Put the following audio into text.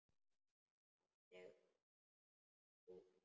En fallegt úr.